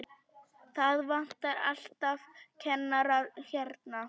Það vantar alltaf kennara hérna.